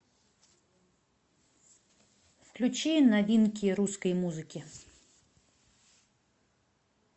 включи новинки русской музыки